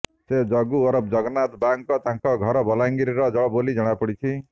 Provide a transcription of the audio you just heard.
ସେ ଜଗୁ ଓରଫ ଜଗନ୍ନାଥ ବାଗ୍ ତାଙ୍କ ଘର ବଲାଙ୍ଗିର ବୋଲି ଜଣାପଡ଼ିଛି